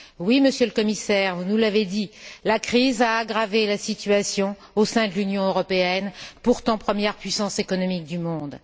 Oui, Monsieur le Commissaire, vous nous l'avez dit la crise a aggravé la situation au sein de l'Union européenne, pourtant première puissance économique du monde.